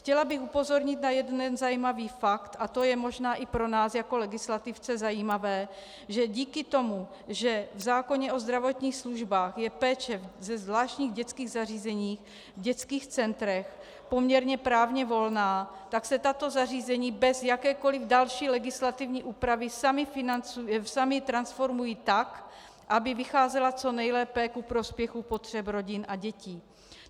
Chtěla bych upozornit na jeden zajímavý fakt, a to je možná i pro nás jako legislativce zajímavé, že díky tomu, že v zákoně o zdravotních službách je péče ve zvláštních dětských zařízeních, v dětských centrech poměrně právně volná, tak se tato zařízení bez jakékoli další legislativní úpravy sama transformují tak, aby vycházela co nejlépe ku prospěchu potřeb rodin a dětí.